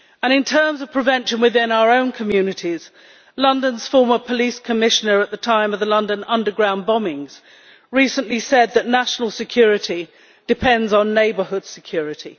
In terms of prevention within our own communities, London's Police Commissioner at the time of the London underground bombings recently said that national security depends on neighbourhood security.